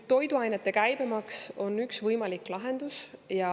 Toiduainete käibemaks on üks võimalik lahendus.